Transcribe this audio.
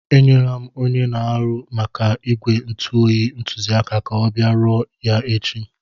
Enyere m onye na-ahụ maka ígwè ntu oyi ntụziaka ka ọ bịa rụzie ya echi.